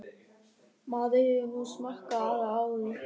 Maður hefur nú smakkað það áður.